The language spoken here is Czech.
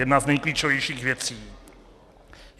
Jedna z nejklíčovějších věcí.